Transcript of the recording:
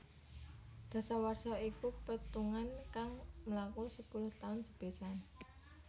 Dasawarsa iku petungan kang mlaku sepuluh taun sepisan